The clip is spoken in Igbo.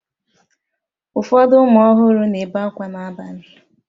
Ụfọdụ ụmụ ọhụrụ na-ebe akwa n'abalị